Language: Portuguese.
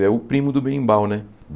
É o primo do berimbau, né?